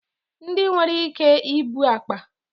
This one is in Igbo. Ndị nwere ike ibu akpa